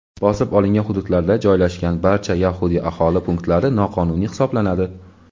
bosib olingan hududlarda joylashgan barcha yahudiy aholi punktlari noqonuniy hisoblanadi.